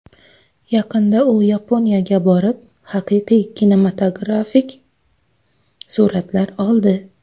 Yaqinda u Yaponiyaga borib, haqiqiy kinematografik suratlar oldi.